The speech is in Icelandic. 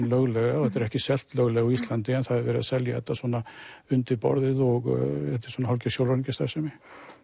löglega og ekki selt löglega á Íslandi en það er verið að selja þetta svona undir borðið og þetta er svona hálfgerð sjóræningja starfsemi